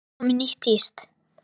Er komið nýtt tíst?